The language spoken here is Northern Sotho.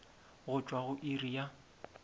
go tšwa go iri ya